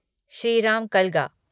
Shriram Kalga